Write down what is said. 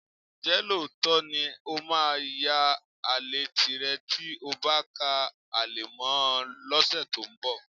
Ǹjẹ́ lóòótọ́ ni ó máa yan àlè tìrẹ tí o bá ká ale mọ́ ọn lọ́sẹ̀ tó ń bọ̀?